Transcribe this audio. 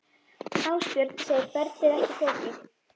Ásbjörn segir ferlið ekki flókið.